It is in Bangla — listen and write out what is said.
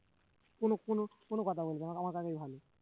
কোন কোন কোন কথা বলবে না আমার কাকাই ভালো